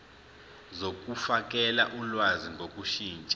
zokufakela ulwazi ngokushintsha